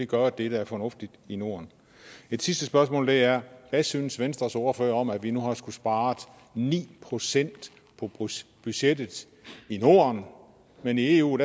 gøre det der er fornuftigt i norden et sidste spørgsmål er hvad synes venstres ordfører om at vi nu har skullet spare ni procent på budgettet i norden men i eu